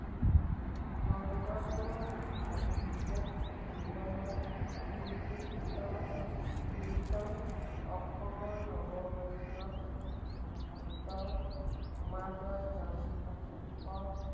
শঙ্কৰদেৱৰ সাহিত্যিক জীৱনৰ কীৰ্তিস্ত কীৰ্ত্তন অসমৰ নৱবৈষ্ণৱ ভক্ত সমাজৰ নাম